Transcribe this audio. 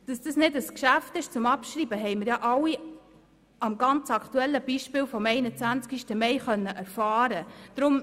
Dass dies kein Geschäft zum Abschreiben ist, haben wir alle am aktuellen Beispiel vom 21. Mai erfahren können.